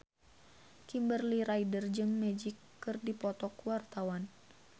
Kimberly Ryder jeung Magic keur dipoto ku wartawan